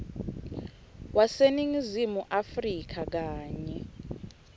waseningizimu afrika kanye